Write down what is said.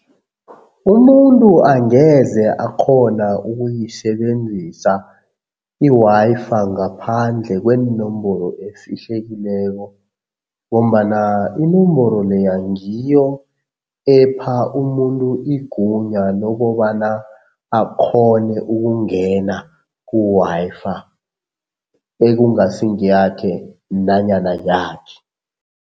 Umuntu angeze akghona ukuyisebenzisa i-Wi-Fi ngaphandle kweenomboro efihlekileko ngombana inomboro leya ngiyo epha umuntu igunya lokobana akghone ukungena ku-Wi-Fi ekungasi ngeyakhe nanyana yakhe.